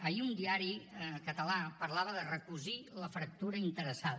ahir un diari català parlava de recosir la fractura interessada